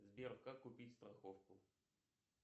сбер как купить страховку